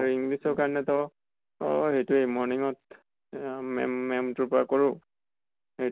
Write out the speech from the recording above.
আৰু english ৰ কাৰণে তো, অʼ সেইতোৱেই morning ত আ ma'am, maʼam তোৰ পৰা কৰোঁ । সে